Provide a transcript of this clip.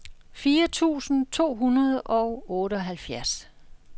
fire tusind to hundrede og otteoghalvfjerds